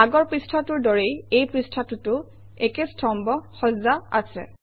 আগৰ পৃষ্ঠাটোৰ দৰেই এই পৃষ্ঠাটোতো একে স্তম্ভ সজ্জা আছে